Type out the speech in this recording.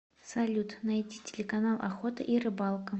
салют найти телеканал охота и рыбалка